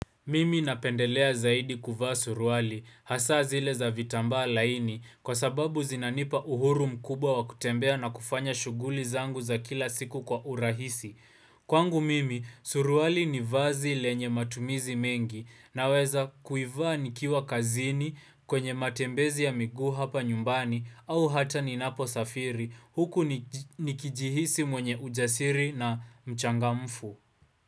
Mimi napendelea zaidi kuvaa suruali, hasa zile za vitambaa laini, kwa sababu zinanipa uhuru mkubwa wa kutembea na kufanya shughuli zangu za kila siku kwa urahisi. Kwangu mimi, suruali ni vazi lenye matumizi mengi, naweza kuivaa nikiwa kazini kwenye matembezi ya miguu hapa nyumbani, au hata ninaposafiri, huku nikijihisi mwenye ujasiri na mchangamfu.